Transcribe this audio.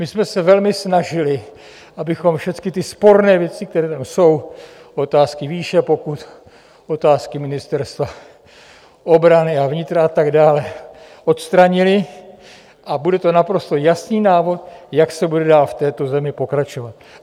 My jsme se velmi snažili, abychom všechny ty sporné věci, které tam jsou, otázky výše pokut, otázky Ministerstva obrany a vnitra a tak dále, odstranili a bude to naprosto jasný návod, jak se bude dál v této zemi pokračovat.